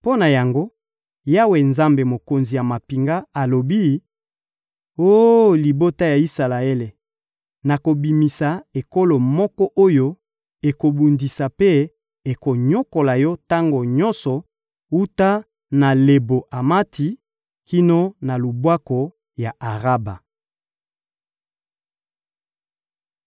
Mpo na yango, Yawe, Nzambe, Mokonzi ya mampinga, alobi: «Oh libota ya Isalaele, nakobimisa ekolo moko oyo ekobundisa mpe ekonyokola yo tango nyonso wuta na Lebo-Amati kino na lubwaku ya Araba.»